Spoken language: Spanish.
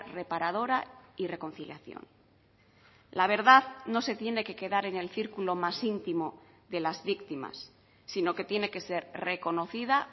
reparadora y reconciliación la verdad no se tiene que quedar en el círculo más íntimo de las víctimas sino que tiene que ser reconocida